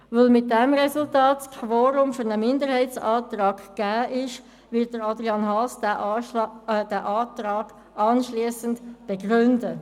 Weil mit dem Resultat das Quorum für einen Minderheitsantrag gegeben war, wird Adrian Haas den Antrag anschliessend begründen.